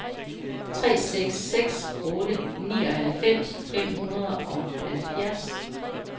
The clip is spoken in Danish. tre seks seks otte nioghalvfems fem hundrede og halvfjerds